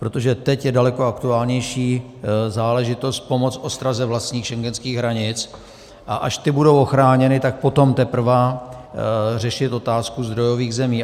Protože teď je daleko aktuálnější záležitost pomoci ostraze vlastních schengenských hranic, a až ty budou ochráněny, tak potom teprve řešit otázku zdrojových zemí.